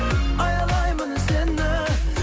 аялаймын сені